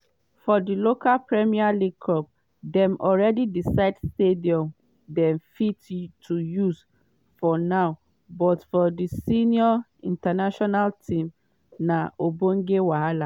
for di local premier league clubs dem already decide stadiums dem fit to use for now but for di senior national team na ogbonge wahala.